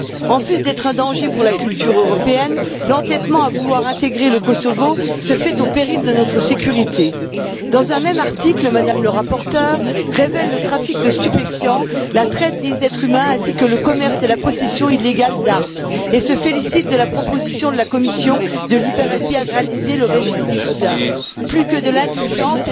En plus d'être un danger pour la culture européenne, l'entêtement à vouloir intégrer le Kosovo se fait au péril de notre sécurité. Dans un même article, la rapporteure révèle le trafic de stupéfiants, la traite des êtres humains ainsi que le commerce et la possession illégale d'armes, et se félicite de la proposition de la Commission de libéraliser le régime des visas. Plus que de l'indulgence, c'est de la complaisance.